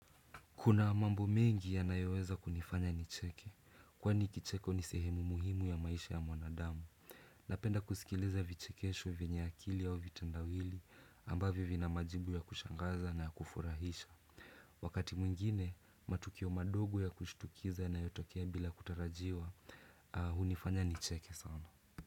Kuna mambo mengi yanayoweza kunifanya nicheke, kwani kicheko ni sehemu muhimu ya maisha ya mwanadamu. Napenda kusikiliza vichekesho vyenye akili au vitendawili ambavyo vina majibu ya kushangaza na kufurahisha. Wakati mwingine, matukio madogo ya kushitukiza yanayotokea bila kutarajiwa, hunifanya nicheke sana.